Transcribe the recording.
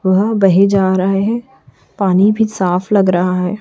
वह बहे जा रहे है पानी भी साफ लग रहा है।